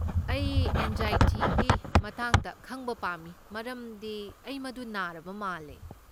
ꯑꯩ ꯑꯦꯟꯖꯥꯏꯇꯤꯒꯤ ꯃꯇꯥꯡꯗ ꯈꯪꯕ ꯄꯥꯝꯃꯤ ꯃꯔꯝꯗꯤ ꯑꯩ ꯃꯗꯨ ꯅꯥꯔꯕ ꯃꯥꯜꯂꯦ꯫